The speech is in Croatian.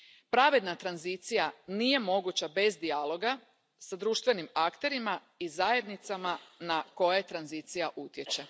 Pravedna tranzicija nije moguća bez dijaloga s društvenim akterima i zajednicama na koje tranzicija utječe.